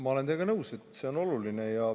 Ma olen teiega nõus, et see on oluline.